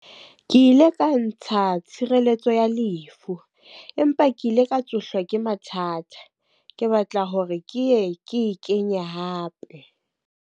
Ke ile ka ntsha tshireletso ya lefu. Empa ke ile ka tsohlwa ke mathata, ke batla hore ke ye ke e kenya hape.